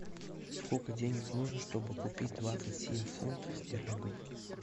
сколько денег нужно чтобы купить двадцать семь фунтов стерлингов